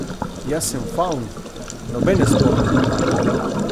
Jaz sem favn, nobene spovedi ne rabim!